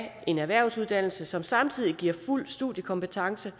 en erhvervsuddannelse som samtidig giver fuld studiekompetence